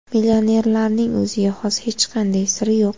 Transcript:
Millionerlarning o‘ziga xos hech qanday siri yo‘q.